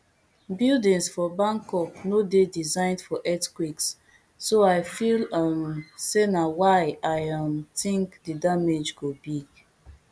buildings for bangkok no dey designed for earthquakes so i feel um say na why i um think di damage go big